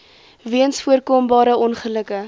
weens voorkombare ongelukke